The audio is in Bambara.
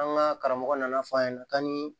An ka karamɔgɔ nana fɔ a ɲɛna ka ni